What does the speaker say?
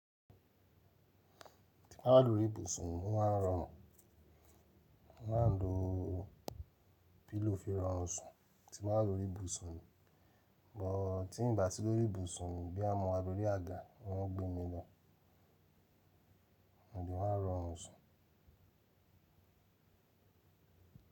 Tí n bá lórí ìbùsùn wọn máa ń rọrùn. Mo máa ń lo pillow fi rọrun sùn tí n ba wa lórí ìbùsùn. Tí ì n bá si lórí ìbùsùn boya mo wa lórí àga orun gbémi lọ, mo le maa rọrùn sun.